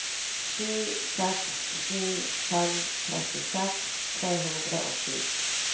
sju seks sju fem trettiseks tre hundre og sju